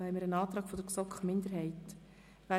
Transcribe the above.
Hier liegt ein Antrag der GSoK-Minderheit vor.